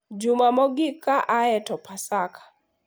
Juma mogik ka aye to Paska,